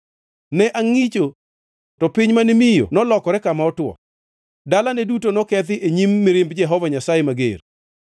Ne angʼicho to piny mane miyo nolokore kama otwo; dalane duto nokethi e nyim mirimb Jehova Nyasaye mager.